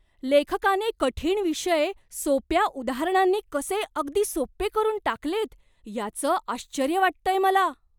लेखकाने कठीण विषय सोप्या उदाहरणांनी कसे अगदी सोप्पे करून टाकलेत याचं आश्चर्य वाटतंय मला.